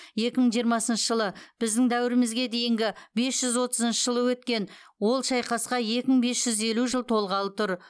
екі мың жиырмасыншы жылы біздің дәуірімізге дейінгі бес жүз отызыншы жылы өткен ол шайқасқа екі мың бес жүз елу жыл толғалы тұр